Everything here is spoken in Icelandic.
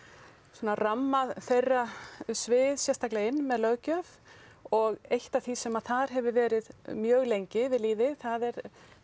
svona ramma þeirra svið sérstaklega inn með löggjöf og eitt af því sem þar hefur verið mjög lengi við lýði það er